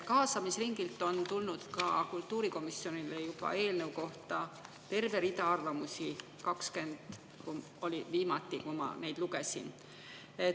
Kaasamisringilt on tulnud kultuurikomisjonile eelnõu kohta juba terve rida arvamusi, 20 oli viimati, kui ma neid lugesin.